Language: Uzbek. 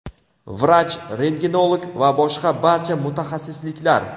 vrach-rentgenolog va boshqa barcha mutaxassisliklar.